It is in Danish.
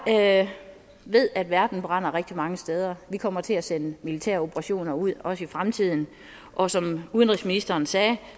jeg ved at verden brænder rigtig mange steder vi kommer til at sende militære operationer ud også i fremtiden og som udenrigsministeren sagde